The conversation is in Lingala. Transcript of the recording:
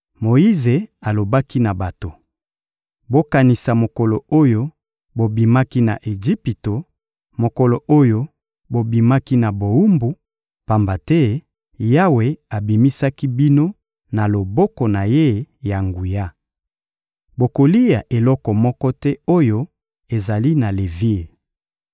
Moyize alobaki na bato: «Bokanisa mokolo oyo bobimaki na Ejipito, mokolo oyo bobimaki na bowumbu, pamba te Yawe abimisaki bino na loboko na Ye ya nguya. Bokolia eloko moko te oyo ezali na levire.